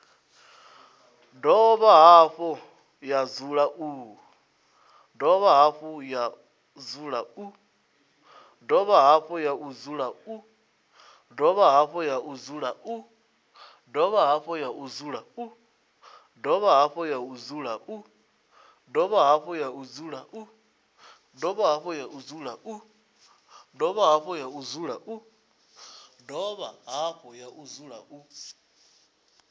dovha hafhu ya dzula u